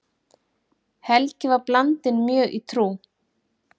Helgi var blandinn mjög í trú.